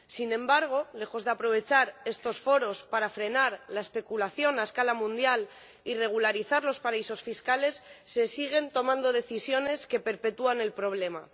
Sin embargo, lejos de aprovechar estos foros para frenar la especulación a escala mundial y regularizar los paraísos fiscales, se siguen tomando decisiones que perpetúan el problema.